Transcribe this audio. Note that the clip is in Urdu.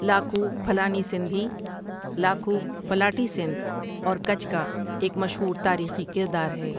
لاکھو پھلانی سندھی لاکو ڦلاڻي سندھ اور کچھ کا ایک مشہور تاریخی کردار ہے۔